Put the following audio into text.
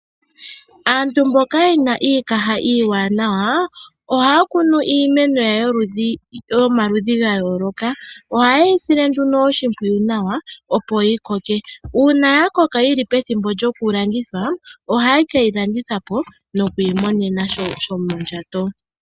Aantu mboka ye na iikaha iiwanawa, ohaya kunu iimeno yomaludhi ga yooloka. Ohaye yi sile nduno oshimpwiyu nawa opo yi koke. Uuna ya koka yi li pethimbo lyokulandithwa ohaye ke yi landitha po nokwiimonena shomondjato.